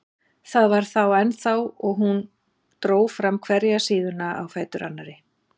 Það var þar ennþá og hún dró fram hverja síðuna á fætur annarri.